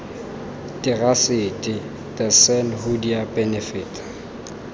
terasete the san hoodia benefit